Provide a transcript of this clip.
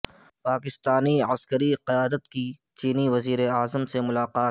پاکستانی کی عسکری قیادت کی چینی وزیراعظم سے ملاقات